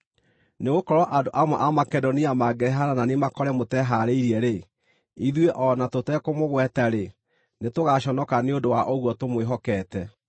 Nĩgũkorwo andũ amwe a Makedonia mangĩrehane na niĩ makore mũtehaarĩirie-rĩ, ithuĩ, o na tũtekũmũgweta-rĩ, nĩtũgaaconoka nĩ ũndũ wa ũguo tũmwĩhokeete.